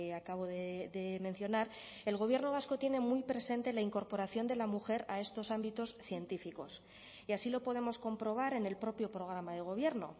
acabo de mencionar el gobierno vasco tiene muy presente la incorporación de la mujer a estos ámbitos científicos y así lo podemos comprobar en el propio programa de gobierno